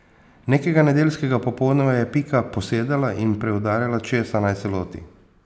Nekega nedeljskega popoldneva je Pika posedala in preudarjala, česa naj se loti.